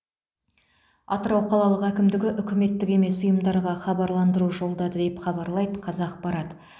атырау қалалық әкімдігі үкіметтік емес ұйымдарға хабарландыру жолдады деп хабарлайды қазақпарат